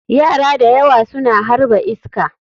Yara da yawa suna harba iska.